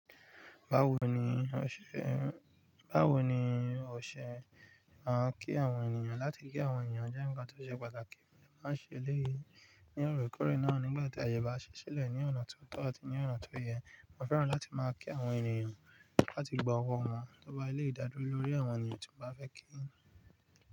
Báwo ni ọ ṣe, báwo ni ọ ṣe máa ń kí àwọn ènìyàn? Láti kí àwọn ènìyàn jẹ́ ǹkan tó ṣe pàtàkì, màá ṣe eléyìí ní óòrèkóòrè náà nígbà tí àyè bá ṣẹ́ ṣílẹ̀ ní ọ̀nà tó tọ̀ àti ní ọ̀nà tó yẹ. Mo fẹ́ràn láti máa kí àwọn ènìyàn láti gba ọwọ́ wọn tó bá ilé ìdádúró lórí àwọn ènìyàn tí mo bá fẹ́ kí.